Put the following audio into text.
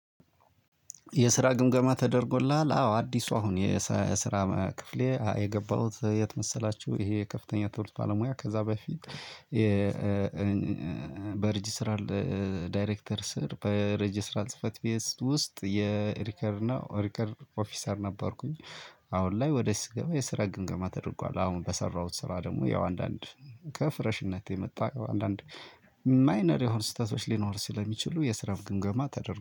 የስራ ግምገማ ተደርጎልሃል አው አዲስ ሰው አሁን የስ የስራ ክፍሌ የገባሁት የት መሰላቹ እሄ ከፍተኛ ትውልድ ባለ ሙያ ከዛ በፊት። በሪጅስትራል ዳይሬክተር ስር በሬጅስትራል ጽህፈት ቤት ውስጥ የሪከርድ እና ሪከርድ ኦፊሰር ነበርኩኝ። አሁን ላይ ወደ ስገባ የስራ ግምገማ ተደርጓል። አሁን በሰራሁት ስራ ደሞ ያው አንዳንድ ከፍረሽነት የመጣ አንዳንድ ማይነር የሆኑ ስህተቶች ሊኖሩ ስለሚችሉ የስራ ግምገማ ተደርጎ